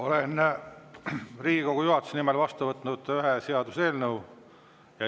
Olen Riigikogu juhatuse nimel vastu võtnud ühe seaduseelnõu.